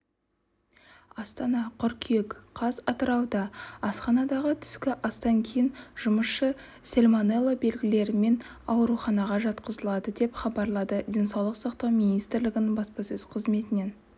астана қыркүйек қаз атырауда асханадағы түскі астан кейін жұмысшы сальмонелла белгілерімен ауруханаға жатқызылды деп хабарлады денсаулық сақтау министрлігінің баспасөз қызметінен